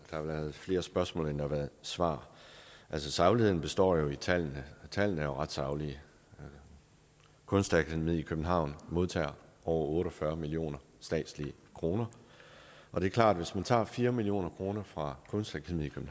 flere spørgsmål end der har været svar altså sagligheden består i tallene og tallene er jo ret saglige kunstakademiet i københavn modtager over otte og fyrre millioner statslige kroner og det er klart at hvis man tager fire million kroner fra kunstakademiet